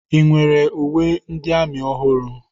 Ị nwere uwe ndị amị ọhụrụ?